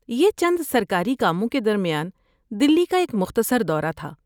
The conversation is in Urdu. یہ چند سرکاری کاموں کے درمیان دہلی کا ایک مختصر دورہ تھا۔